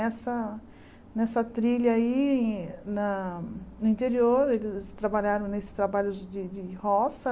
Nessa nessa trilha aí, na no interior, eles trabalharam nesses trabalhos de de roça.